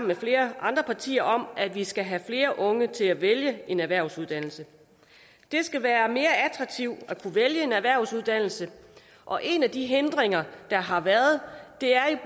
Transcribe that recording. med flere andre partier om at vi skal have flere unge til at vælge en erhvervsuddannelse det skal være mere attraktivt at kunne vælge en erhvervsuddannelse og en af de hindringer der har været er